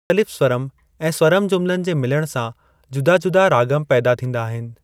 मुख़्तलिफ़ स्वरम ऐं स्वरम जुमिलनि जे मिलण सां जुदा-जुदा रागम पैदा थींदा आहिनि।